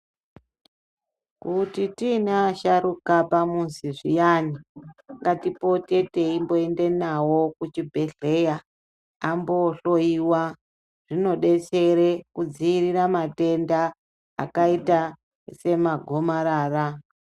Kuti tiine asharuka pamuzi zviyani ngatipote teimboende nawo kuchibhedhleya ambohloiwa zvinodetsere kudzivirira matenda akaita semagomarara.